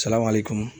Salamali kɔnɔ